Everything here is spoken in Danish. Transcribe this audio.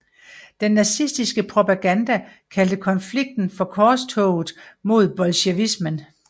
Den nazistiske propaganda kaldte konflikten for Korstoget mod bolsjevismen